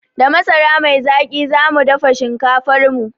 Da masara mai zaƙi zamu dafa shinkafarmu